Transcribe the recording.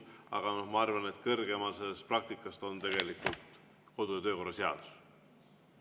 Aga ma arvan, et kõrgemal sellest praktikast on tegelikult kodu‑ ja töökorra seadus.